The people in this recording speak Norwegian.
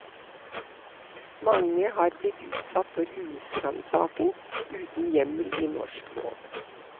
Mange har blitt utsatt for husransaking, uten hjemmel i norsk lov.